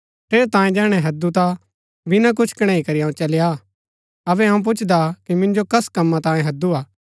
ठेरैतांये जैहणै हैदु ता बिना कुछ कणैई करी अऊँ चली आ अबै अऊँ पुछदा कि मिन्जो कस कम्मा तांयें हैदुआ